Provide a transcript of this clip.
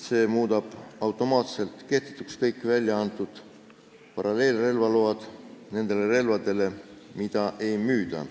See muudab automaatselt kehtetuks kõik väljaantud paralleelrelvaload nende relvade jaoks, mida ei müüda.